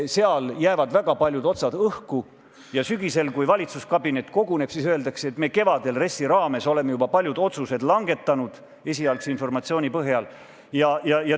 Seal jäävad väga paljud otsad õhku ja sügisel, kui valitsuskabinet koguneb, siis öeldakse, et me kevadel RES-i raames oleme juba paljud otsused langetanud esialgse informatsiooni põhjal.